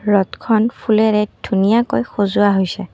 ৰথখন ফুলেৰে ধুনীয়াকৈ সজোৱা হৈছে।